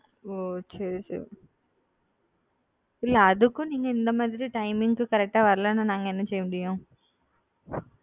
ஒ சரி சரி இல்ல அதுக்கும் நீங்க இந்த மாரி timing க்கு கரெக்ட் ஆ வரலேனா நாங்க என்ன செய்ய முடியும்?